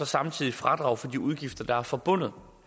samtidig fradrag for de udgifter der er forbundet